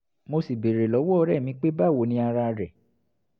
mo sì béèrè lọ́wọ́ ọ̀rẹ́ mi pé báwo ni ara rẹ̀?